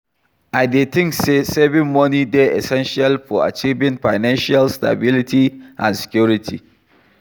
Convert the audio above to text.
I dey think say saving money dey essential for achieving financial stability and security.